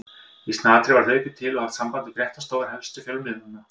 Í snatri var hlaupið til og haft samband við fréttastofur helstu fjölmiðlanna.